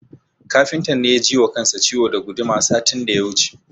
Kafintan ne ya ji wa kansa ciwo da guduma satin da ya wuce.